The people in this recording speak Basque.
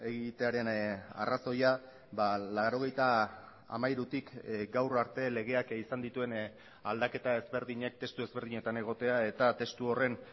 egitearen arrazoia laurogeita hamairutik gaur arte legeak izan dituen aldaketa ezberdinek testu ezberdinetan egotea eta testu horren